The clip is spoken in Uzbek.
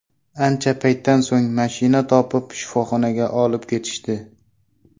Ancha paytdan so‘ng mashina topib, shifoxonaga olib ketishdi.